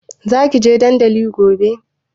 Za ki je dandali gobe?